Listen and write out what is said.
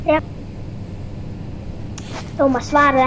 Thomas svaraði ekki strax.